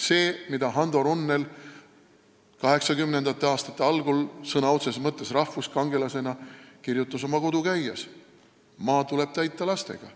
See, mida Hando Runnel 1980. aastate algul sõna otseses mõttes rahvuskangelasena kirjutas oma "Kodu-käijas": maa tuleb täita lastega.